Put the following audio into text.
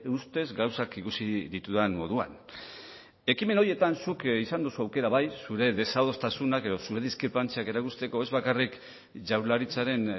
ustez gauzak ikusi ditudan moduan ekimen horietan zuk izan duzu aukera bai zure desadostasunak edo zure diskrepantziak erakusteko ez bakarrik jaurlaritzaren